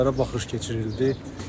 Cənazələrə baxış keçirildi.